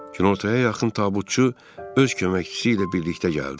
Kinortaya yaxın tabutçu öz köməkçisi ilə birlikdə gəldi.